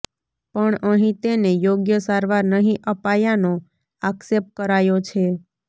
પણ અહી તેને યોગ્ય સારવાર નહી અપાયાનો આક્ષેપ કરાયો છે